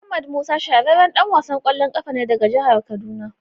Ahmed Musa shahararren dan wasan kwallon kafa ne daga jihar kaduna.